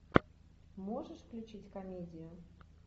можешь включить комедию